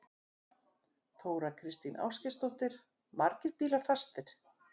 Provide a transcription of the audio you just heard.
Þóra Kristín Ásgeirsdóttir: Margir bílar fastir?